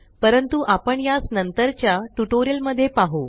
परंतु आपण यास नंतरच्या ट्यूटोरियल मध्ये पाहु